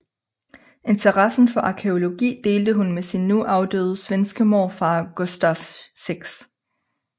Interessen for arkæologi delte hun med sin nu afdøde svenske morfar Gustaf 6